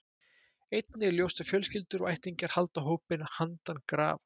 Einnig er ljóst að fjölskyldur og ættingjar halda hópinn handan grafar.